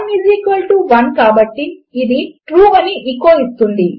1 equal to 1 కాబట్టి ఇది true అని ఎచో ఇస్తుంది